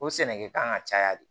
O sɛnɛkɛkan ka caya de